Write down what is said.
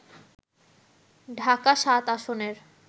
ঢাকা-৭ আসনের